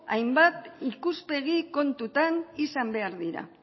hainbat ikuspegi kontutan izan behar dira